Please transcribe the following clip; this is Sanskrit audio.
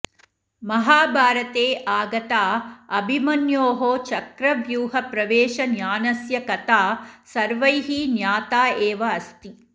महाभारते आगता अभिमन्योः चक्रव्यूहप्रवेशज्ञानस्य कथा सर्वैः ज्ञाता एव अस्ति